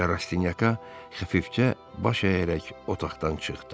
Və Rastinyaka xəfifcə baş əyərək otaqdan çıxdı.